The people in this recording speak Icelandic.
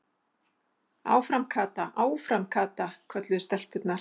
Áfram Kata, áfram Kata! kölluðu stelpurnar.